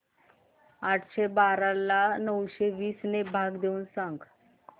आठशे बारा ला नऊशे वीस ने भाग देऊन सांग